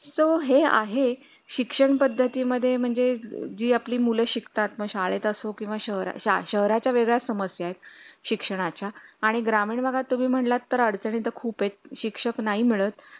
so आहे शिक्षण पद्धती मध्ये म्हणजे जी आपली मुलं शिकतात ना शाळेत अ शाळेत असो किंवा शहरा शहराच्या वेगळ्या समस्या आहेत शिक्षणा च्या आणि ग्रामीण बघा तुम्ही म्हणलात तर अडचणीत खूपच आहेत शिक्षक नाही मिळत